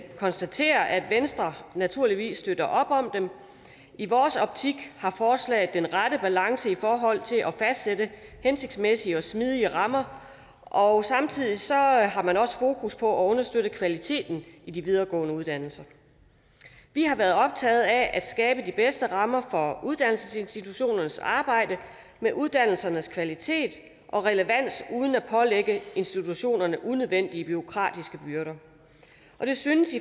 konstatere at venstre naturligvis støtter op om dem i vores optik har forslaget den rette balance i forhold til at fastsætte hensigtsmæssige og smidige rammer og samtidig har man også fokus på at understøtte kvaliteten i de videregående uddannelser vi har været optaget af at skabe de bedste rammer for uddannelsesinstitutionernes arbejde med uddannelsernes kvalitet og relevans uden at pålægge institutionerne unødvendige bureaukratiske byrder og det synes